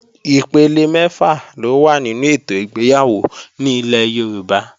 Ipele mẹ́fà ló wà nínú ètò ìgbéyàwó ní ilẹ̀ Yorùbá